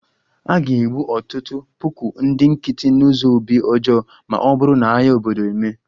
A ga-egbu ọtụtụ puku ndị nkịtị n'ụzọ obi ọjọọ ma ọ bụrụ na agha obodo emee